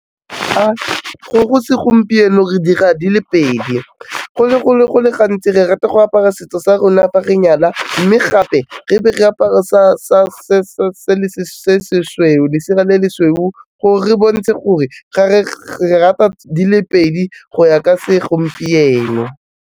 Go segompieno re dira di le pedi go le gantsi re rata go apara setso sa rona fa re nyala, mme gape re be re apare se se sweu, lesela le le sweu gore re bontshe gore re rata di le pedi go ya ka segompieno.